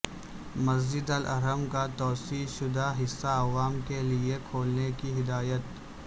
مسجد al Haram کا توسیع شدہ حصہ عوام کے لئے کھولنے کی ہدایت